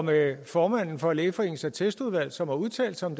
med formanden for lægeforeningens attestudvalg som har udtalt sig om